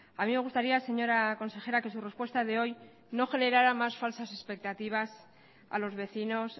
a mí me gustaría señora consejera que su respuesta de hoy no generara más falsas expectativas a los vecinos